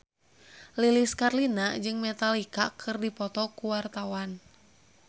Lilis Karlina jeung Metallica keur dipoto ku wartawan